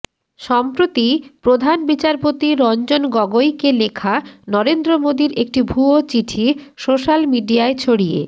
সম্প্রতি প্রধান বিচারপতি রঞ্জন গগৈকে লেখা নরেন্দ্র মোদীর একটি ভুয়ো চিঠি সোশ্যাল মিডিয়ায় ছড়িয়ে